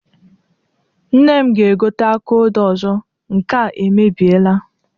Nne m ga-egote aka odo ọzọ, nke a emebieela.